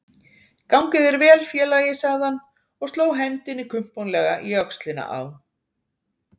Gangi þér vel félagi, sagði hann og sló hendinni kumpánlega í öxlina á